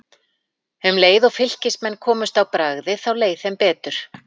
Um leið og Fylkismenn komust á bragðið þá leið þeim betur.